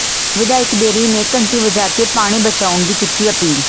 ਵਿਧਾਇਕ ਬੇਰੀ ਨੇ ਘੰਟੀ ਵਜਾ ਕੇ ਪਾਣੀ ਬਚਾਉਣ ਦੀ ਕੀਤੀ ਅਪੀਲ